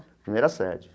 Primeira sede.